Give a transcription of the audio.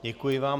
Děkuji vám.